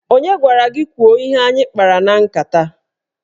Onye gwara gị kwuo ihe anyị kpara na nkata?